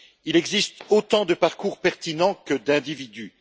Il existe autant de parcours pertinents que d'individus.